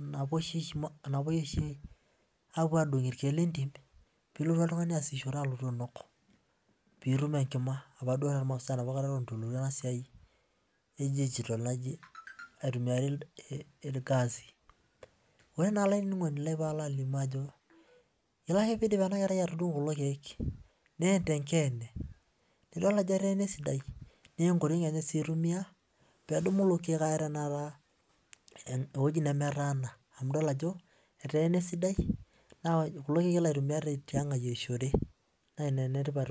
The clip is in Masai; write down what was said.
napwoi oshi adung irkiek lentim piilotu oltung'ani alotu aasishore alotu ainok piitum enkima opa duo eton etu elotu ena siai digital naitumiari irgasi. Ore naa olainining'oni lai paalo alimu ajo, ore ake piidip ena kerai atudung'u kulo kiek neen tenkeene. Nidol ajo eteena esidai naa enkoriong enye sii eitumia peedumu kulo kiek aya tenakata ewueji nemetaana amu idol ajo eteena esidai na kulo kiek elo aitumia naa ina enetipat oleng